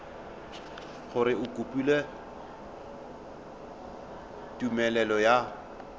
gore o kopile tumelelo ya